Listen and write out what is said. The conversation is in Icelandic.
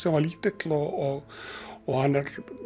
hann var lítill og og hann er